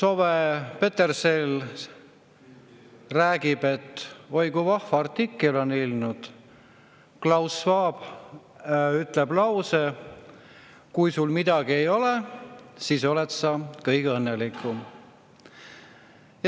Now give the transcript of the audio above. Owe Petersell räägib, et oi kui vahva artikkel on ilmunud: Klaus Schwab ütleb, et kui sul midagi ei ole, siis oled sa kõige õnnelikum.